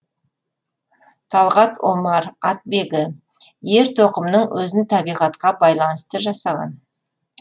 талғат омар атбегі ер тоқымның өзін табиғатқа байланысты жасаған